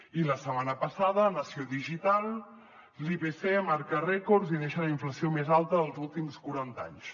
i la setmana passada a nació digital l’ipc marca rècords i deixa la inflació més alta dels últims quaranta anys